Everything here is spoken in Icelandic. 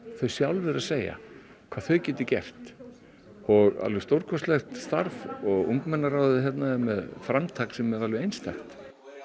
þau sjálf eru að segja hvað þau geta gert alveg stórkostlegt starf og ungmennaráðið hérna er með framtak sem er alveg einstakt